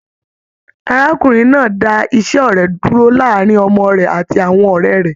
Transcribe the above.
Arákùnrin náà dà ise ọrẹ dúró láàrin ọmọ rẹ àti àwọn ọrẹ rẹ.